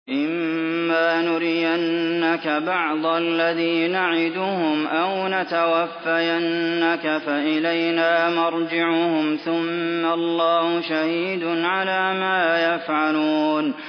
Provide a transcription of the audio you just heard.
وَإِمَّا نُرِيَنَّكَ بَعْضَ الَّذِي نَعِدُهُمْ أَوْ نَتَوَفَّيَنَّكَ فَإِلَيْنَا مَرْجِعُهُمْ ثُمَّ اللَّهُ شَهِيدٌ عَلَىٰ مَا يَفْعَلُونَ